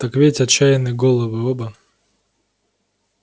так ведь отчаянны головы оба